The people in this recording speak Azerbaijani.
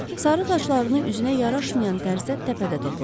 Sarı saçlarını üzünə yaraşmayan tərzdə təpədə toplamışdı.